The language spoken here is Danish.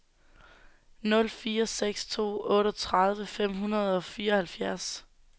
nul fire seks to otteogtredive fem hundrede og fireoghalvfjerds